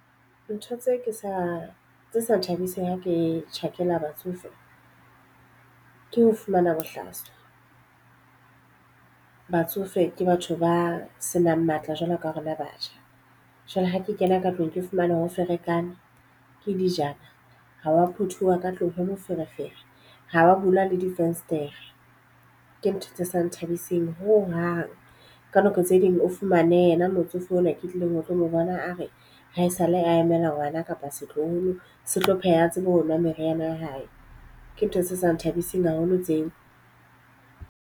Ntho tse ke sa tse sa thabiseng ha ke tjhakela batsofe. Ke ho fumana bohlaswa. Batsofe ke batho ba senang matla jwalo ka rona batjha. Jwale ha ke kena ka tlung ke fumane ha o ferekane, ke dijana, ha wa phuthuwa ka tlung ho moferefere, ha wa bula le difenstere. Ke ntho tse sa nthabiseng ho hang. Ka nako tse ding o fumane yena motsofe ona ke tlileng ho tlo mo bona a re ha e sa le a emela ngwana kapa setloholo se tlo pheha, a tsebe ho nwa meriana ya hae. Ke ntho se sa nthabiseng haholo tseo.